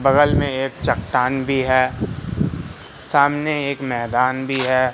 बगल में एक चट्टान भी है सामने एक मैदान भी है।